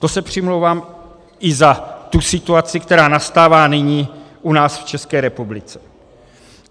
To se přimlouvám i za tu situaci, která nastává nyní u nás v České republice.